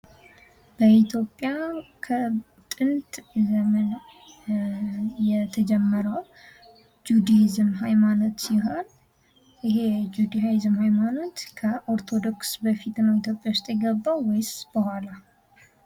በኢትዮጵያ ከጥንት ዘመን የተጀመረው የጁድሂዝም ሀይማኖት ሲሆን ይህ ሀይማኖት ከኦርቶዶክስ ሀይማኖት በፊት ነው ወደ ኢትዮጵያ የገባው ወይስ በኋላ?